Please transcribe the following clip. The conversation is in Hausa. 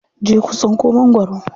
Je ku tsinko magwaro.